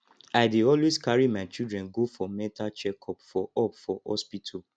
i dey always carry my children go for mental check up for up for hospital